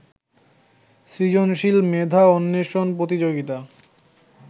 সৃজনশীল মেধা অন্বেষণ প্রতিযোগিতা